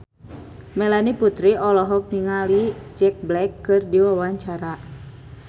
Melanie Putri olohok ningali Jack Black keur diwawancara